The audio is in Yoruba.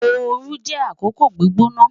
Ooru jẹ akoko gbigbona